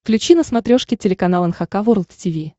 включи на смотрешке телеканал эн эйч кей волд ти ви